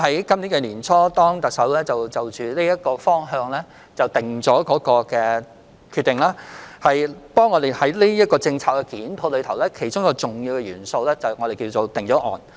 今年年初，特首就這個方向作出決定，我們在檢討有關政策時，其中一個重要元素是所謂的"定案"。